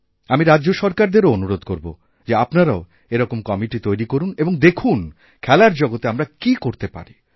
আমি রাজ্যসরকারদেরও অনুরোধ করব যে আপনারাও এরকম কমিটি তৈরি করুন এবং দেখুন খেলার জগতে আমরাকী করতে পারি